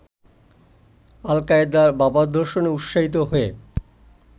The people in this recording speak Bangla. আল-কায়েদার ভাবাদর্শে উৎসাহিত হয়ে